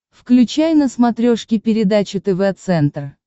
включай на смотрешке передачу тв центр